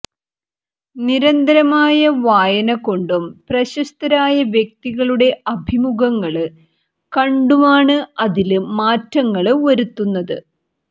നിരന്തരമായ വായന കൊണ്ടും പ്രശസ്തരായ വ്യക്തികളുടെ അഭിമുഖങ്ങള് കണ്ടുമാണ് അതില് മാറ്റങ്ങള് വരുത്തുന്നത്